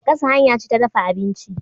Gasa hanya ce ta dafa abinci.